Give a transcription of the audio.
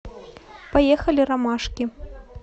поехали ромашки